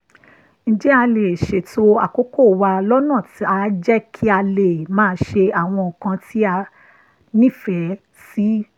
ǹjẹ́ a lè ṣètò àkókò wa lọ́nà táá jẹ́ ká lè máa ṣe àwọn nǹkan tá a nífẹ̀ẹ́ sí?